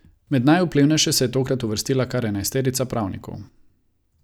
Med najvplivnejše se je tokrat uvrstila kar enajsterica pravnikov.